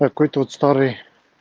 какой-то вот старый